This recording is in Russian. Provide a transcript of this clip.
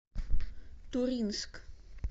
туринск